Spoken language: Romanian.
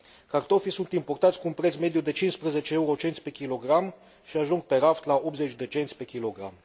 Cartofii sunt importați cu un preț mediu de 15 eurocenți pe kilogram și ajung pe raft la 80 de cenți pe kilogram.